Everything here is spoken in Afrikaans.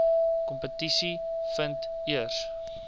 kompetisie vind eers